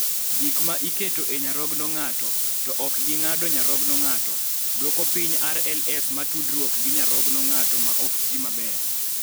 Gik ma iketo e nyarogno ng�ato (to ok gi ng�ado nyarogno ng�ato) dwoko piny RLS ma tudruok gi nyarogno ng�ato ma ok tiyo maber.